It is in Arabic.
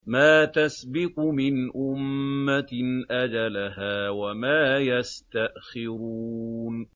مَّا تَسْبِقُ مِنْ أُمَّةٍ أَجَلَهَا وَمَا يَسْتَأْخِرُونَ